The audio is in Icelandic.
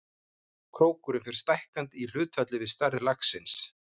Krókurinn fer stækkandi í hlutfalli við stærð laxins.